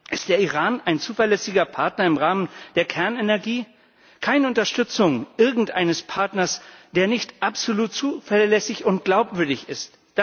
Ist der Iran ein zuverlässiger Partner im Rahmen der Kernenergie? Keine Unterstützung irgendeines Partners, der nicht absolut zuverlässig und glaubwürdig ist!